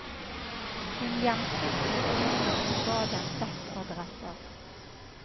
Hun gjemte flyktinger og ga dem dekkadresser.